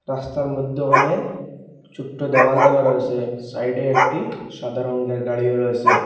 রাস্তার মধ্য ওহানে ছোট্ট দেওয়াল দেওয়া রয়েসে সাইডে একটি সাদা রঙ্গের গাড়িও রয়েসে।